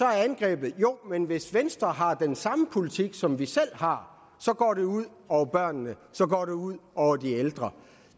er angrebet jo men hvis venstre har den samme politik som vi selv har så går det ud over børnene så går det ud over de ældre